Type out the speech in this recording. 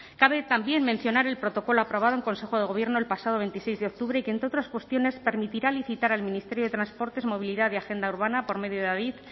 cabe también mencionar el protocolo aprobado en consejo de gobierno el pasado veintiséis de octubre y que entre otras cuestiones permitirá licitar al ministerio de transportes movilidad y agenda urbana por medio de adif